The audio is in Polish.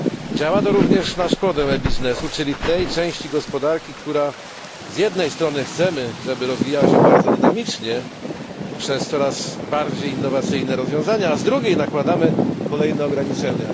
Działa to również na szkodę e biznesu, czyli tej części gospodarki, co do której z jednej strony chcemy, żeby rozwijała się bardzo dynamicznie przez coraz bardziej innowacyjne rozwiązania, a z drugiej nakładamy kolejne ograniczenia.